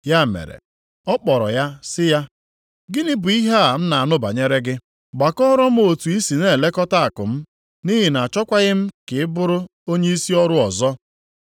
Ya mere ọ kpọrọ ya sị ya, ‘Gịnị bụ ihe a m na-anụ banyere gị? Gbakọọrọ m otu i si na-elekọta akụ m, nʼihi na achọkwaghị m ka ị bụrụ onyeisi ọrụ ọzọ.’